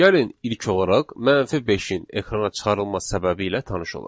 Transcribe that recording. Gəlin ilk olaraq -5-in ekrana çıxarılma səbəbi ilə tanış olaq.